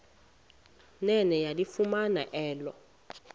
nene yalifumana elo